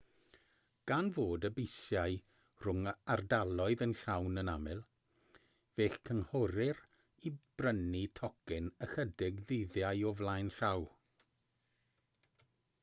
gan fod y bysiau rhwng ardaloedd yn llawn yn aml fe'ch cynghorir i brynu tocyn ychydig ddyddiau o flaen llaw